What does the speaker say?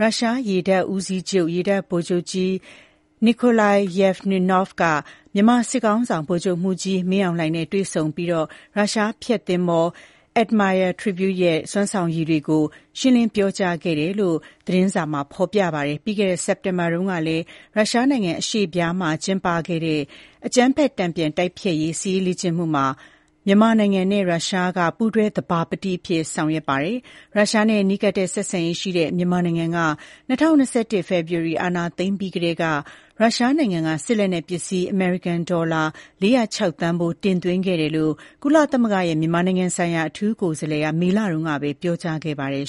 ရုရှားရေတပ်ဦးစီးချုပ် ရေတပ်ဗိုလ်ချုပ်ကြီး Nikolai Yevmenov က မြန်မာစစ်ခေါင်းဆောင် ဗိုလ်ချုပ်မှူးကြီး မင်းအောင်လှိုင်နဲ့ တွေ့ဆုံခဲ့ပြီး ရုရှားဖျက်သင်္ဘော Admiral Tributs ရဲ့ စွမ်းဆောင်ရည်တွေကို ရှင်းလင်းပြောကြားခဲ့တယ်လို့ Global New Light of Myanmar သတင်းစာက ဖော်ပြပါတယ်။ ပြီးခဲ့တဲ့ စက်တင်ဘာလတုန်းကလည်း ရုရှားနိုင်ငံ အရှေ့ဖျားမှာ ကျင်းပတဲ့ အကြမ်းဖက်မှုတန်ပြန် တိုက်ဖျက်ရေး စစ်ရေးလေ့ကျင့်မှုမှာ မြန်မာနိုင်ငံနဲ့ ရုရှားက ပူးတွဲသဘာပတိအဖြစ် ဆောင်ရွက်ခဲ့ပါတယ်။ ရုရှားနဲ့ နီးကပ်တဲ့ ဆက်ဆံရေးရှိတဲ့ မြန်မာနိုင်ငံက ၂၀၂၁ ဖေဖော်ဝါရီလ အာဏာသိမ်းပြီးကတည်းက ရုရှားနိုင်ငံက စစ်လက်နက်ပစ္စည်း အမေရိကန်ဒေါ်လာ ၄၀၆ သန်းဖိုး တင်သွင်းခဲ့တယ်လို့လည်း ကုလသမဂ္ဂရဲ့ မြန်မာနိုင်ငံဆိုင်ရာ အထူးကိုယ်စားလှယ်က မေလတုန်းက ပြောကြားခဲ့ပါတယ်